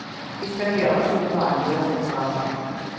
De skal gjøre sine vanlige oppgaver.